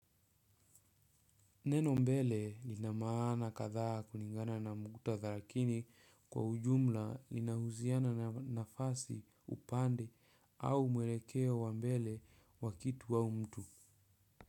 Neno mbele lina maana kadha kulingana na muktadha lakini kwa ujumla linahusiana na nafasi upande au mwelekeo wa mbele wa kitu au mtu.